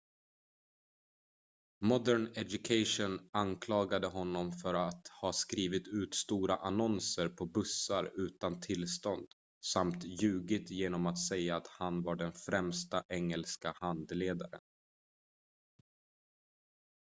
modern education anklagade honom för att ha skrivit ut stora annonser på bussar utan tillstånd samt ljugit genom att säga att han var den främsta engelska handledaren